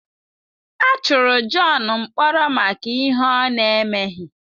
A tụrụ John mkpọrọ maka ihe ọ na-emeghi.